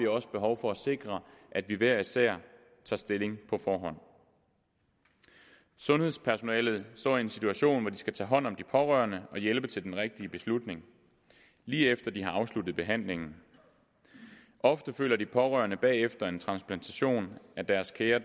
også behov for at sikre at vi hver især tager stilling på forhånd sundhedspersonalet står i en situation hvor de skal tage hånd om de pårørende og hjælpe til den rigtige beslutning lige efter de har afsluttet behandlingen ofte føler de pårørende efter en transplantation at deres kære